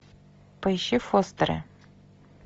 поищи фостеры